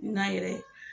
N na yɛrɛ